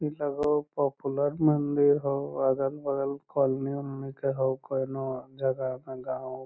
इ लगो हो पॉपुलर मंदिर हो अगल बगल कॉलोनी वॉलोनी के हो कउनो जगह में गाँव --